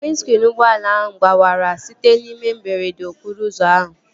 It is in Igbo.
Windskriin ụgbọala ahụ gbawara site n'ihe mberede okporo ụzọ ahụ